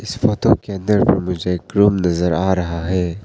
इस फोटो के अंदर मुझे एक रूम नजर आ रहा है।